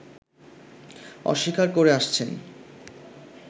অস্বীকার করে আসছেন